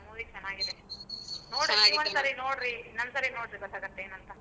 Movie ಚೆನ್ನಾಗಿದೆ, ಇನ್ನೊಂದ್ಸರಿ ನೋಡ್ರಿ ಗೊತ್ತಾಗುತ್ತೆ ಏನಂತ.